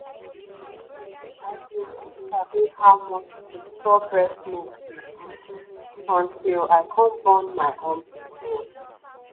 i been no sabi how much to store breast milk dey good until i come born my own pikin